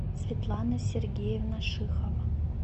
светлана сергеевна шихова